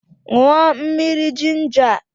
Ṅụọ mmiri jinja a!